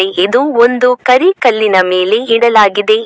ಇದು ಒಂದು ಕರಿ ಕಲ್ಲಿನ ಮೇಲೆ ಇಡಲಾಗಿದೆ.